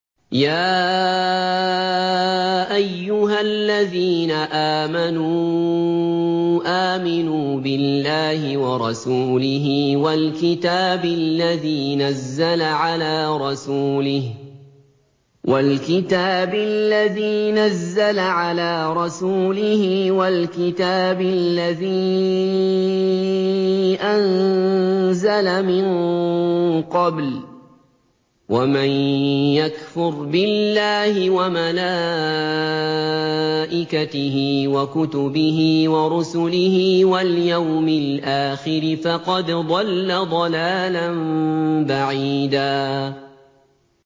يَا أَيُّهَا الَّذِينَ آمَنُوا آمِنُوا بِاللَّهِ وَرَسُولِهِ وَالْكِتَابِ الَّذِي نَزَّلَ عَلَىٰ رَسُولِهِ وَالْكِتَابِ الَّذِي أَنزَلَ مِن قَبْلُ ۚ وَمَن يَكْفُرْ بِاللَّهِ وَمَلَائِكَتِهِ وَكُتُبِهِ وَرُسُلِهِ وَالْيَوْمِ الْآخِرِ فَقَدْ ضَلَّ ضَلَالًا بَعِيدًا